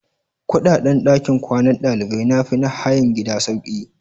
Kudaden dakin kwanan dalibai na fi na hayan gida sauƙi.